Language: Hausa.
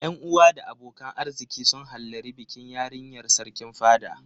Yan uwa da abokan arziki sun hallari bikin yarinyar Sarkin fada.